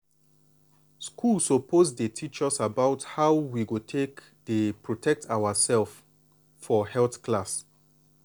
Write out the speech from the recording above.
schools suppose dey teach us about how we go take dey protect ourself for health class.